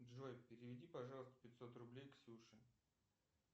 джой переведи пожалуйста пятьсот рублей ксюше